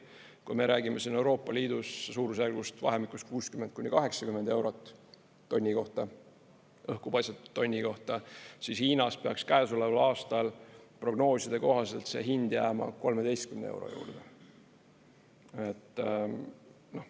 Kui me räägime siin Euroopa Liidus suurusjärgust vahemikus 60–80 eurot tonni kohta, õhku paisatud tonni kohta, siis Hiinas peaks käesoleval aastal prognooside kohaselt see hind jääma 13 euro juurde.